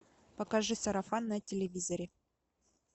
покажи сарафан на телевизоре